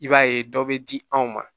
I b'a ye dɔ bɛ di anw ma